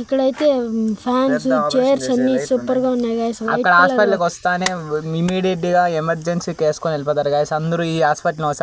ఇక్కడ అయితే fans chairs అన్ని సూపర్ గా ఉన్నాయి గాయ్స్ వైట్ కలర్